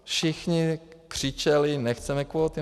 Všichni křičeli "nechceme kvóty".